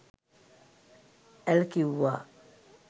ඇල් කිවුවා